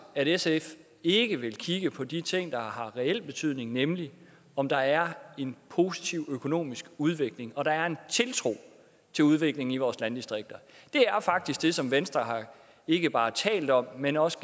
at sf ikke vil kigge på de ting der har reel betydning nemlig om der er en positiv økonomisk udvikling og der er en tiltro til udvikling i vores landdistrikter det er faktisk det som venstre ikke bare har talt om men også